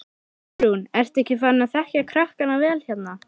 Guðrún: Ertu ekki farin að þekkja krakkana vel hérna?